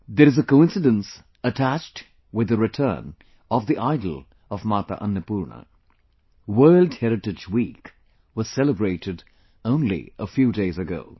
There is a coincidence attached with the return of the idol of Mata Annapurna... World Heritage Week was celebrated only a few days ago